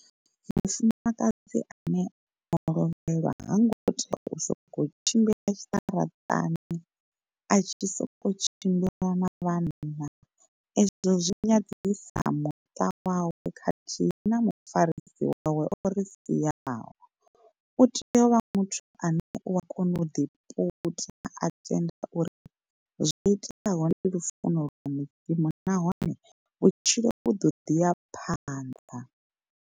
Mufumakadzi ane o lovhelwa ha ngo tea u sokou tshimbila tshiṱaratani a tshi sokou tshimbila na vhanna, ezwo zwi nyadzisa muṱa wawe khathihi na mufarisi wawe o ri siaho. U tea u vha muthu ane u wa kona u ḓi puta a tenda uri zwo iteaho ndi lufuno lwa mudzimu nahone vhutshilo vhu do ḓiya phanḓa.